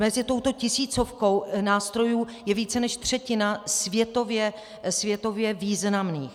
Mezi touto tisícovkou nástrojů je více než třetina světově významných.